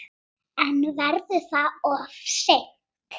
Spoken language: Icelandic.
En verður það of seint?